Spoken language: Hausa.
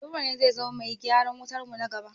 Nura ne zai zama bai gyaran wutarmu na gaba.